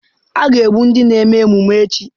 A ga-egbu ndị na-eme emume echi.